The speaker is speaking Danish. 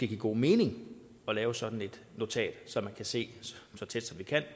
give god mening at lave sådan et notat så man kan se hvor tæt